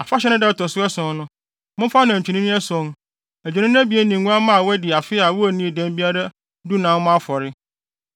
“ ‘Afahyɛ no da a ɛto so ason no, momfa anantwinini ason, adwennini abien ne nguamma a wɔadi afe a wonnii dɛm biara dunan mmɔ afɔre.